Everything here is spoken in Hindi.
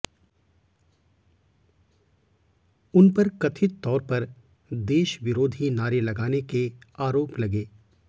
उन पर कथित तौर पर देश विरोधी नारे लगाने के आरोप लगे